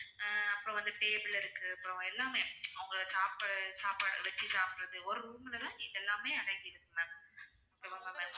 அஹ் அப்புறம் வந்து table இருக்கு அப்புறம் எல்லாமே அவங்க சாப்பிடுற சாப்பாடு வெச்சி சாப்பிடறது ஒரு room ல தான் இது எல்லாமே அடங்கி இருக்கு ma'am okay வா ma'am